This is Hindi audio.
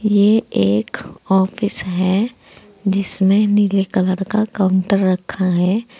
ये एक ऑफिस है जिसमें नीले कलर का काउंटर रखा है।